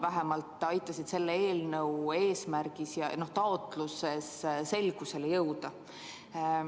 Vähemalt minul aitasid need selle eelnõu eesmärgis ja taotluses selgusele jõuda.